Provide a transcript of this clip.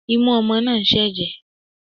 Imú ọmọ náà ń ṣẹ̀jẹ̀